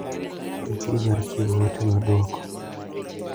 Ikri mar chiwo ote mar duoko .